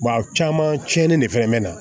caman tiɲɛni de fana bɛ na